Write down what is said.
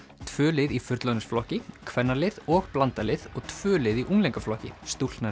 tvö lið í fullorðinsflokki kvennalið og blandað lið og tvö lið í unglingaflokki